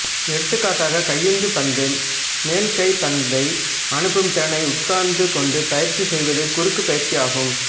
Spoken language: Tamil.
எடுத்துக்காட்டாக கையுந்து பந்து மேல்கை பந்தை அனுப்பும் திறனை உட்கார்ந்து கொண்டு பயிற்சி செய்வது குறுக்குப் பயிற்சியாகும்